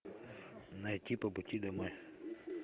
найти по пути домой